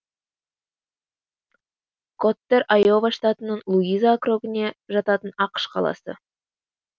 коттэр айова штатының луиза округіне жататын ақш қаласы